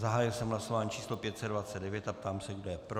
Zahájil jsem hlasování číslo 529 a ptám se, kdo je pro.